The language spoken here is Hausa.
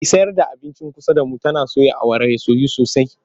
Mai sayar da abincin kusa da mu tana soya awara ta soyu sosai.